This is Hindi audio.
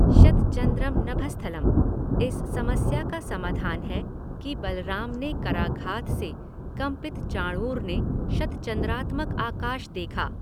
शतचंद्रम् नभस्थलं, इस समस्या का समाधान है कि बलराम के कराघात से कम्पित चाणूर ने शतचंद्रात्मक आकाश देखा।